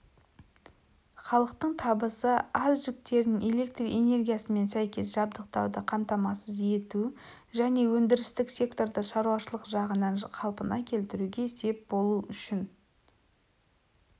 халықтың табысы аз жіктерін электр энергиясымен сәйкес жабдықтауды қамтамасыз ету және өндірістік секторды шаруашылық жағынан қалпына келтіруге сеп болу үшін